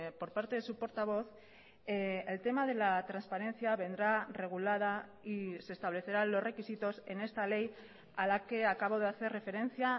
por parte de su portavoz el tema de la transparencia vendrá regulada y se establecerán los requisitos en esta ley a la que acabo de hacer referencia